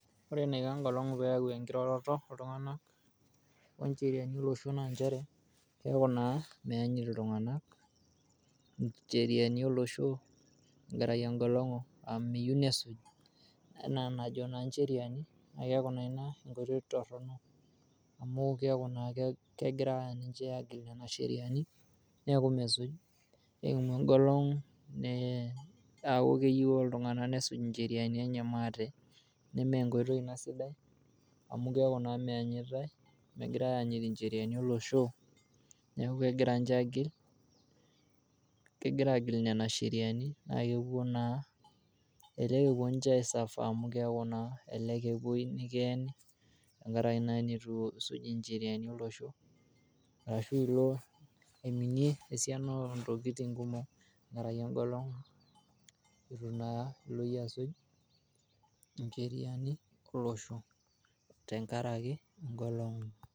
Ore eneiko engolongu peeyau enkiroroto ooltunganak oncheriani olosho naa inchere keaku naa meanyit ltunganak incheriani oloshoo tengaraki engolongu amu meyeu nesuuj enaa naajo incheriani naa keaku naa ina enkoitoi torrono amu keaku naa kegira ninche aagil nena sheriani, neaku mesuj nekumo engolongu neaku keyeu ltunganak nesuj incheriani enye maate nemee enkoitoi ina sidai amu keaku naa meanyitai, megirai aanyita incheriani oloshoo, neaku kegira ninche aagil kegira agil nenia sheriani, naa keponu naa, elelek eponu ninche aisuffer amu keaku naa elelek epoi nikieni tengaraki naa neyu isuuj incheriani olosho, arashu ilo aimine esiana entokitin kumok tengaraki engolono etu naa ilo iye aasuj incheriani oloshoo tengaraki engolongu.